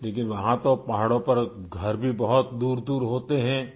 لیکن، وہاں تو پہاڑوں پر گھر بھی بہت دور دور ہوتے ہیں